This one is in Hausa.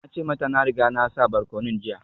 Na ce mata na riga na sa barkonon jiya